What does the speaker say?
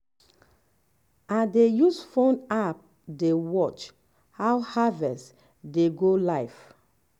i dey use phone app dey um watch how harvest dey go live.